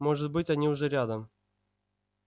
может быть они уже рядом